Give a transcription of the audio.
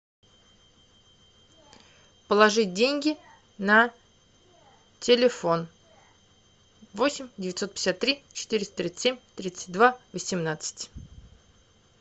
положить деньги на телефон восемь девятьсот пятьдесят три четыреста тридцать семь тридцать два восемнадцать